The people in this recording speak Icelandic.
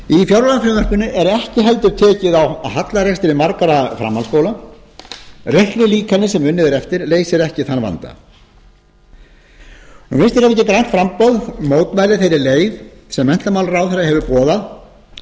fjárlagafrumvarpinu er ekki heldur tekið á hallarekstri margra framhaldsskóla reiknilíkanið sem unnið er eftir leysir ekki þann vanda vinstri hreyfingin grænt framboð mótmælir þeirri leið sem menntamálaráðherra hefur boðað í að